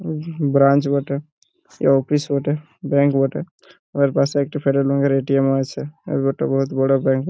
হুমহুহু branch বটে সে office বটে ব্যাঙ্ক বটে উআর পাসে এক টি রঙের এ.টি.এম. ও আছে আর ওটা বহত বড়ো ব্যাঙ্ক --